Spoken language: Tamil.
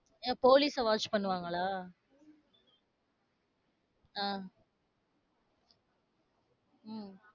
அஹ் போலீசை watch பண்ணுவாங்களா. அஹ் உம்